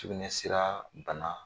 Sukunɛsira bana